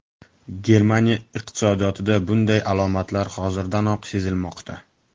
Germaniya iqtisodiyotida bunday alomatlar hozirdanoq sezilmoqda.